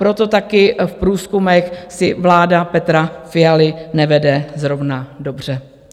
Proto taky v průzkumech si vláda Petra Fialy nevede zrovna dobře.